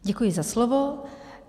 Děkuji za slovo.